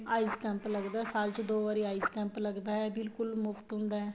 eyes camp ਲੱਗਦਾ ਏ ਸਾਲ ਚ ਦੋ ਵਾਰੀ eyes camp ਲੱਗਦਾ ਏ ਬਿਲਕੁਲ ਮੁਫ਼ਤ ਹੁੰਦਾ ਏ